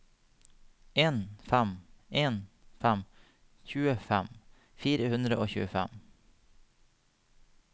en fem en fem tjuefem fire hundre og tjuefem